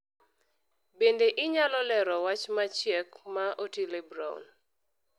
Bende inyalo lero wach machiek ma Otile Brown